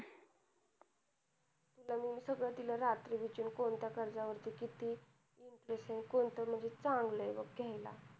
तिला मी सगळ रात्री विचार ते कोणत्या कर्ज वर किती interest आहे आणि कोणत चांगलं आहे बघ घ्यायला